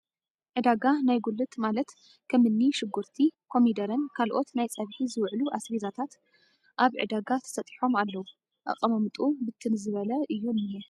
ዕዳጋ ናይ ጉልት ማለት ከም እኒ ሽጉርቲ ፣ ኮሚደረን ካልኦት ናይ ፀብሒ ዝውዕሉ ኣስቤዛታት ኣብ ዕዳጋ ተሰጢሖም ኣለዉ ፣ ኣቐማምጥኡ ብትን ዝመለ እዩ እንሄ ።